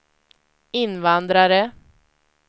invandrare